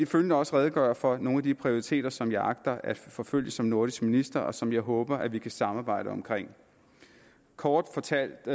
følgende også redegøre for nogle af de prioriteter som jeg agter at forfølge som nordisk minister og som jeg håber vi kan samarbejde om kort fortalt